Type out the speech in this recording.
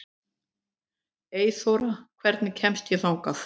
Eyþóra, hvernig kemst ég þangað?